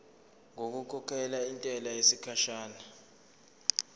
ngokukhokhela intela yesikhashana